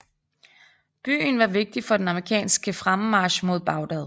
Byen var vigtig for den amerikanske fremmarch mod Bagdad